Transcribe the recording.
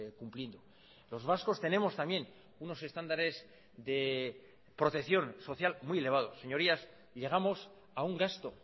cumpliendo los vascos tenemos también unos estándares de protección social muy elevado señorías llegamos a un gasto